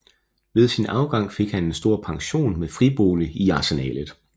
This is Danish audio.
Ved sin afgang fik han en stor pension med fribolig i Arsenalet